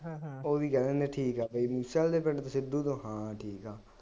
ਉਹ ਵੀ ਕਹਿ ਦਿੰਦੇ ਠੀਕ ਹੈ, ਬਈ ਮੂਸੇਵਾਲੇ ਦੇ ਪਿੰਡ ਤੋਂ ਸਿੱਧੂ ਤੋਂ ਹਾਂ ਠੀਕ ਹੈ